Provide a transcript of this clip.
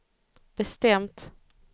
bestämt